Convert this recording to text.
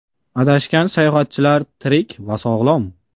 Adashgan sayohatchilar tirik va sog‘lom.